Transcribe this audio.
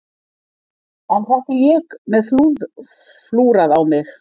En þetta er ég með flúrað á mig.